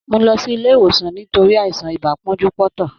Mó lọ sí ilé ìwòsàn nítorí àìsàn ibà pọ́njú-pọ́ntọ̀.